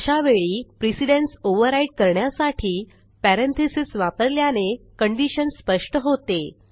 अशा वेळी precedence override करण्यासाठी पॅरेंथीसेस वापरल्याने कंडिशन स्पष्ट होते